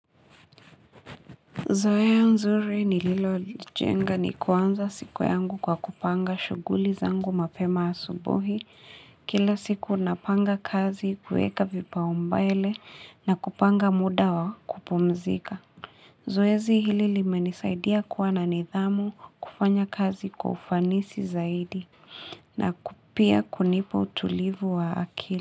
Zoea nzuri nililojiunga ni kuanza siku yangu kwa kupanga shughuli zangu mapema asubuhi kila siku napanga kazi kuweka vipaumbele na kupanga muda wa kupumzika zoezi hili limenisaidia kuwa na nidhamu kufanya kazi kwa ufanisi zaidi na ku pia kunipa utulivu wa akili.